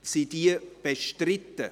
Sind sie bestritten?